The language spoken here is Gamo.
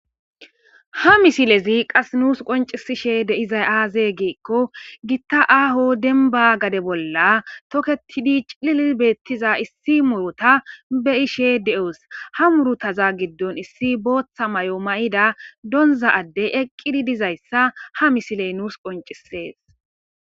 Ha misilezi qas nuus qoncisishe deizay aaze giikko gitta aaho denba gade bolla toketidi clili beettiza issi murota be ishe de7os ha murotaza giddon issi booththa may7o ma7ida donza addey eqqidi dizayssa ha misiley nuus qoncisees